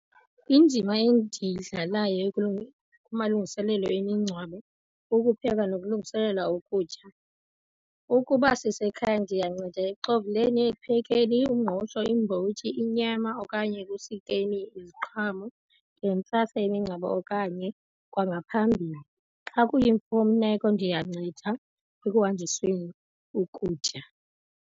Indima endiyidlalayo kumalungiselelo emingcwabo kukupheka nokulungiselela ukutya. Ukuba sisekhaya ndiyanceda ekuxovuleni, ekuphekeni umngqusho, iimbotyi, inyama okanye ekusikeni iziqhamo. Ndiye imingcwabo okanye kwangaphambili. Xa kuyimfuneko ndiyanceda ekuhanjisweni ukutya.